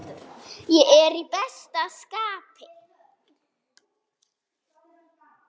Ég er í besta skapi.